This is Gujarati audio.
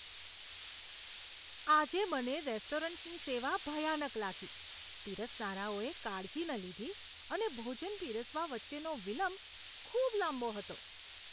આજે મને રેસ્ટોરન્ટની સેવા ભયાનક લાગી. પીરસનારાઓએ કાળજી ન લીધી અને ભોજન પીરસવા વચ્ચેનો વિલંબ ખૂબ લાંબો હતો.